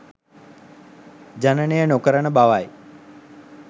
ජනනය නොකරන බවයි.